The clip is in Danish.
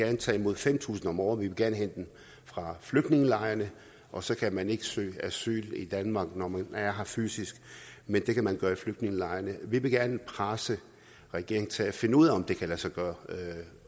at tage imod fem tusind om året vi vil gerne hente dem fra flygtningelejrene og så skal man ikke kunne søge asyl i danmark når man er her fysisk men det kan man gøre i flygtningelejrene vi vil gerne presse regeringen til at finde ud af om det kan lade sig gøre